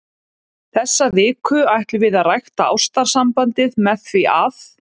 Þessa viku ætlum við að rækta ástarsambandið með því að.